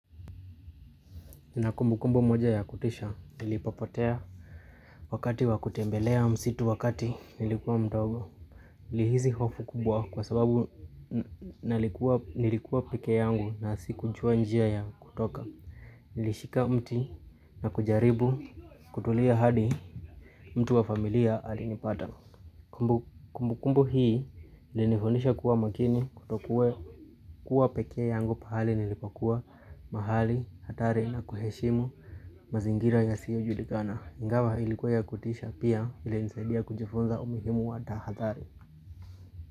Na kumbu kumbu moja ya kutisha nilipapotea wakati wa kutembelea msitu wakati nilikuwa mdogo. Nilihizi hofu kubwa kwa sababu nilikuwa nilikuwa peke yangu na si kujua njia ya kutoka. Nilishika mti na kujaribu kutulia hadi mtu wa familia alinipata. Kumbu kumbu hii nilifonisha kuwa makini kutokue kuwa peke yangu pahali nilipakuwa mahali hatari na kuheshimu. Mazingira ya siyo julikana, ingawa ilikuwa ya kutisha pia vile nisaidia kunjifunza umihimu wa tahathari.